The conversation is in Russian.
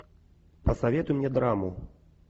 посоветуй мне драму